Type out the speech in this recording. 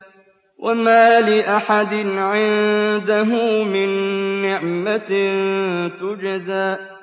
وَمَا لِأَحَدٍ عِندَهُ مِن نِّعْمَةٍ تُجْزَىٰ